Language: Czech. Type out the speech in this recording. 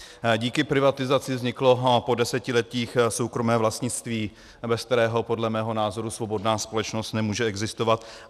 Díky privatizaci vzniklo po desetiletích soukromé vlastnictví, bez kterého podle mého názoru svobodná společnost nemůže existovat.